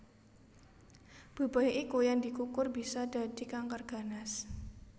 Bebaya iku yen dikukur bisa dadi kanker ganas